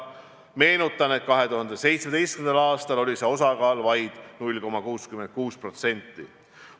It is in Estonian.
Meenutan, et 2017. aastal oli see osakaal vaid 0,66%.